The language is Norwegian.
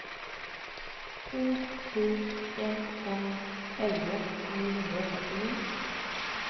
to sju en fem elleve ni hundre og førtini